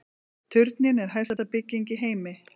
Turninn er hæsta bygging í heimi